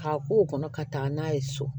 K'a k'o kɔnɔ ka taa n'a ye so